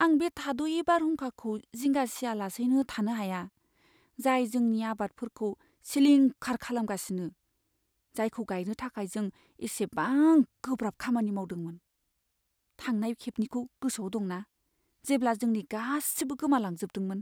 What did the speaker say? आं बे थाद'यै बारहुंखाखौ जिंगा सियालासैनो थानो हाया, जाय जोंनि आबादफोरखौ सिलिंखार खालामगासिनो, जायखौ गायनो थाखाय जों एसेबां गोब्राब खामानि मावदोंमोन! थांनाय खेबनिखौ गोसोआव दंना जेब्ला जोंनि गासिबो गोमालांजोबदोंमोन?